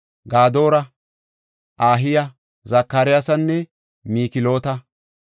Gadoora, Ahiya, Zakariyasanne Mikloota.